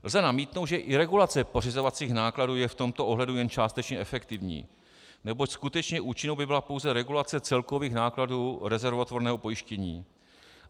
Lze namítnout, že i regulace pořizovacích nákladů je v tomto ohledu jen částečně efektivní, neboť skutečně účinnou by byla pouze regulace celkových nákladů rezervotvorného pojištění.